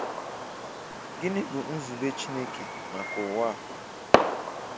Gịnị́ bụ́ zúbè Chinekè maka Ụ̀wà?